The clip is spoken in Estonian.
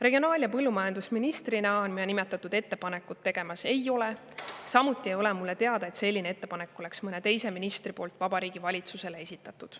" Regionaal- ja põllumajandusministrina ma nimetatud ettepanekut tegemas ei ole, samuti ei ole mulle teada, et mõni teine minister oleks sellise ettepaneku Vabariigi Valitsusele esitanud.